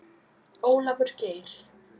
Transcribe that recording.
Ólafur Geir.